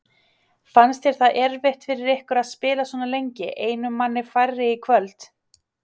Fannst þér það erfitt fyrir ykkur að spila svona lengi einum manni færri í kvöld?